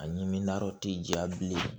A ɲimi naro ti jɛya bilen